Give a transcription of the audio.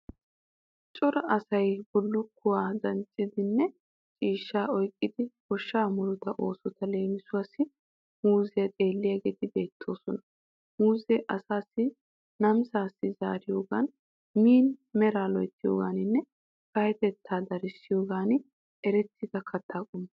Cora asayi bullukkuwa danccidinne ciishshaa oyqqidi goshshaa murutaa oosota leemisuwawu muuzziya xeelliyageeti beettoosona. Muuzze asaassi namisaa zaariyogan, min meraa loyttiyogaaninne payyatettaa darissiyogan erettida katta qommo.